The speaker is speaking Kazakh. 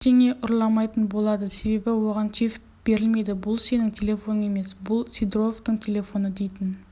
ештеңе ұрламайтын болады себебі оған чип берілмейді бұл сенің телефоның емес бұл сидоровтың телефоны дейтін